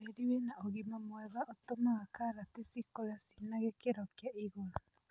Tĩri wĩna ũgima mwega ũtũmaga karati cikũre cinagĩkĩro kĩa igũrũ.